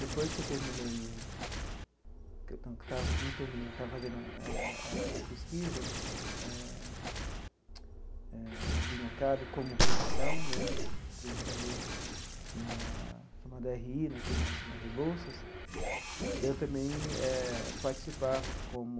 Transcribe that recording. Depois que eu terminei, no que eu estava não terminei, estava fazendo a a a pesquisa eh eh de mercado como profissão né, entrevistado na no dê erre i, aqui na na Rebouças, eu também eh participava como